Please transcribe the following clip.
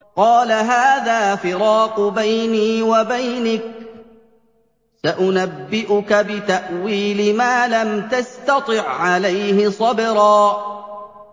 قَالَ هَٰذَا فِرَاقُ بَيْنِي وَبَيْنِكَ ۚ سَأُنَبِّئُكَ بِتَأْوِيلِ مَا لَمْ تَسْتَطِع عَّلَيْهِ صَبْرًا